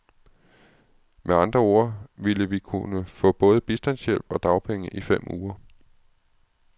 Med andre ord ville vi kunne få både bistandshjælp og dagpenge i fem uger.